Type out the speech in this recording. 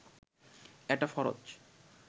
এটা ফরজ